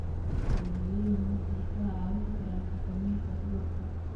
Adeegyadani waxay kaa caawin karaan xakamaynta cudurka.